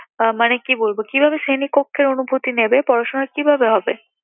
আহ মানে কি বলবো কিভাবে শ্রেণীকক্ষের অনুভূতি নেবে, পড়াশোনা কিভাবে হবে?